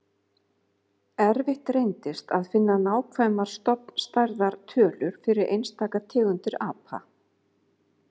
Erfitt reyndist að finna nákvæmar stofnstærðar tölur fyrir einstaka tegundir apa.